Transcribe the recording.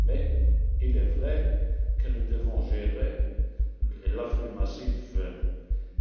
Mais il est vrai que nous devons gérer l'afflux massif